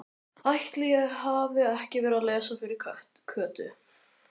Ætli ég hafi ekki verið að lesa fyrir Kötu.